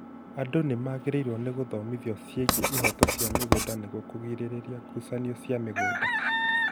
Andũ nĩmagrĩirwo nĩ gũthomithio ciĩgiĩ ihoto cia mĩgũnda nĩguo kũgirĩrĩria ngucanio cia mĩgũnda